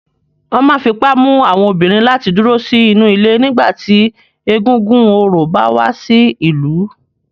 Wọn máa ń fi ipá mú àwọn obìnrin láti dúró sínú ilé nígbà tí egúngún orò bá wá sí ìlú.